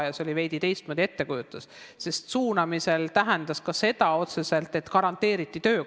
See oli veidi teistmoodi, suunamine tähendas otseselt ka seda, et garanteeriti töökoht.